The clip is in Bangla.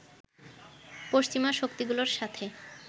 পশ্চিমা শক্তিগুলোর সাথে